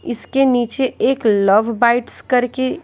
इसके नीचे एक लव बाइट्स करके--